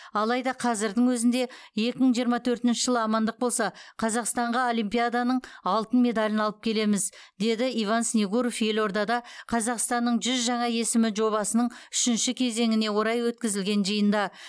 алайда қазірдің өзінде екі мың жиырма төртінші жылы амандық болса қазақстанға олимпиаданың алтын медалін алып келеміз деді иван снегуров елордада қазақстанның жүз жаңа есімі жобасының үшінші кезеңіне орай өткізілген жиында